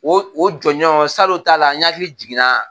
O o jɔnɔn salon ta la n hakili jiginna.